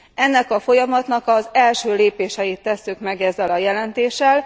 Ennek a folyamatnak az első lépéseit tesszük meg ezzel a jelentéssel.